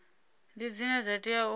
ndi dzine dza tea u